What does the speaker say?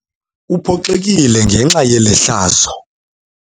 Uphoxekile ngenxa yeli hlazo.